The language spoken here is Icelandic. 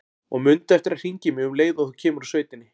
Og mundu eftir að hringja í mig um leið og þú kemur úr sveitinni.